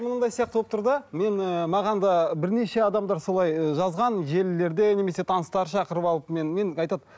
мынандай сияқты болып тұр да мен ііі маған да бірнеше адамдар солай ы жазған желілерде немесе таныстар шақырып алып мен мен айтады